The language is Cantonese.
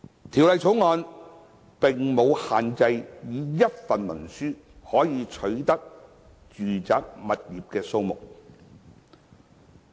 《條例草案》並無限制以一份文書可取得的住宅物業數目。